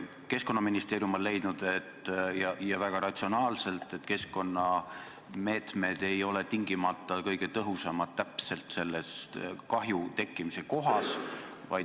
Keskkonnaministeerium on leidnud – ja väga ratsionaalselt –, et keskkonnameetmed ei ole tingimata kõige tõhusamad täpselt selle kahju tekkimise kohas.